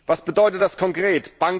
Was bedeutet das konkret?